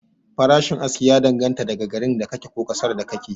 Farashin aski ya dan ganta ne da garin da ka ke, ko ƙasar da ka ke